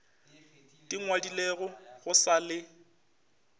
di ngwadilego go sa le